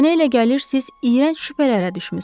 Mənə elə gəlir, siz iyrənc şübhələrə düşmüsünüz.